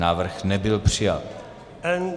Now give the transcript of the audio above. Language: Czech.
Návrh nebyl přijat.